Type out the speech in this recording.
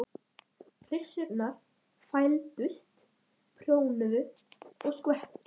Og gekk það ekki vel.